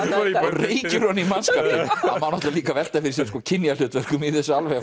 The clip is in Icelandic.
reykir ofan í mannskapinn það má náttúrulega líka velta fyrir sér sko kynjahlutverkum í þessu alveg